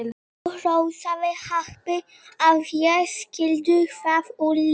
Þú hrósaðir happi að ég skyldi hverfa úr lífi þínu.